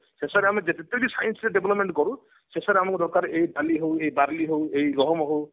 ଶେଷରେ ଆମେ science ରେ ଯେତେବି development କରୁ ଶେଷରେ ଆମକୁ ଦରକାର ଏଇ ଡାଲି ହଉ ଇଏ ବାର୍ଲି ହଉ ଇଏ ଗହମ ହଉ